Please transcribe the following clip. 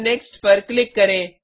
फिर नेक्स्ट पर क्लिक करें